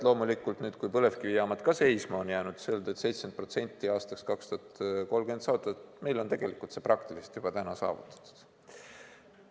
Kui nüüd põlevkivijaamad ka seisma on jäänud, siis 70% aastaks 2030 saada on meil praktiliselt juba täna saavutatud.